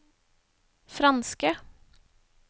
franske